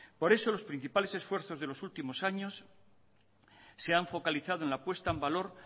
por eso los principales esfuerzos de los últimos años se han focalizado en la puesta en valor